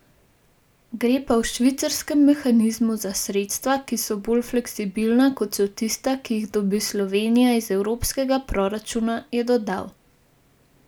Gre pa v švicarskem mehanizmu za sredstva, ki so bolj fleksibilna, kot so tista, ki jih dobi Slovenija iz evropskega proračuna, je dodal.